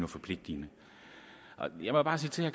forpligtende jeg må bare sige til